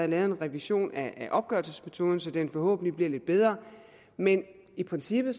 lavet en revision af opgørelsesmetoden så den forhåbentlig bliver lidt bedre men i princippet